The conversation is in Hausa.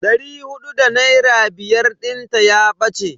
Dari hudu da naira biyar dinta ya bace.